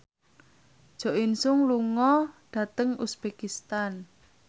Jo In Sung lunga dhateng uzbekistan